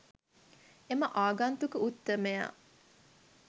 එම ආගන්තුක උත්තමයා